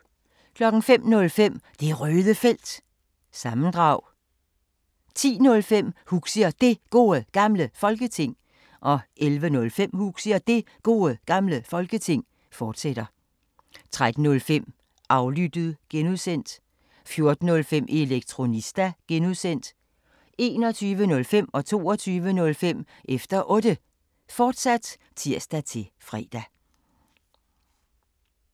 05:05: Det Røde Felt – sammendrag 10:05: Huxi og Det Gode Gamle Folketing 11:05: Huxi og Det Gode Gamle Folketing, fortsat 13:05: Aflyttet (G) 14:05: Elektronista (G) 21:05: Efter Otte, fortsat (tir-fre) 22:05: Efter Otte, fortsat (tir-fre)